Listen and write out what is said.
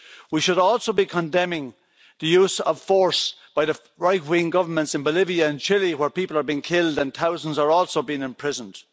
We should also be condemning the use of force by the right wing governments in Bolivia and Chile, where people are being killed and thousands are also being imprisoned.